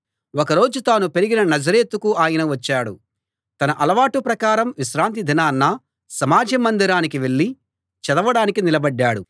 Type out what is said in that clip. ఒక రోజు తాను పెరిగిన నజరేతుకు ఆయన వచ్చాడు తన అలవాటు ప్రకారం విశ్రాంతి దినాన సమాజ మందిరానికి వెళ్ళి చదవడానికి నిలబడ్డాడు